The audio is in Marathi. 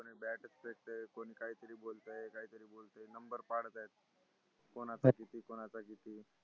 कोणाचं किती कोणाचं किती